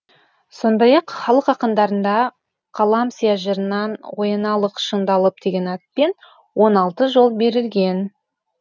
сондай ақ халық ақындарында қалам сия жырынан ояналық шыңдалып деген атпен он алты жол берілген